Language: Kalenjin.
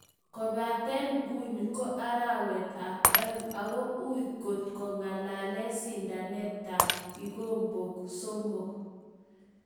Kopaten nguni ko arawet ap oeng ago ui kot kengalalen sindanet ap kigombok somok.